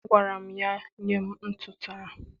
Agwara m ya, nye m ntụtụ ahụ!